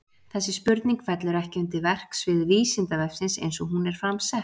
Þessi spurning fellur ekki undir verksvið Vísindavefsins eins og hún er fram sett.